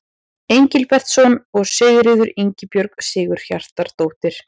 Engilbertsson og Sigríður Ingibjörg Sigurhjartardóttir.